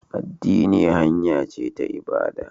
Addini hanya ce ta ibada